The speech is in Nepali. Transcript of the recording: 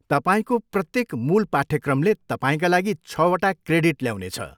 तपाईँको प्रत्येक मूल पाठ्यक्रमले तपाईँका लागि छवटा क्रेडिट ल्याउनेछ।